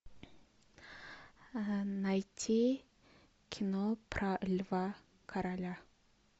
найти кино про льва короля